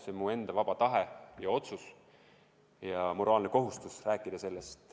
See on mu enda vaba tahe ja otsus ja moraalne kohustus sellest rääkida.